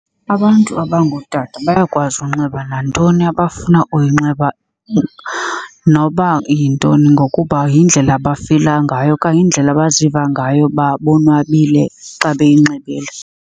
Abantu abangootata bayakwazi unxiba nantoni abafuna uyinxiba noba yintoni ngokuba yindlela abafila ngayo okanye yindlela abaziva ngayo uba bonwabile xa beyinxibile.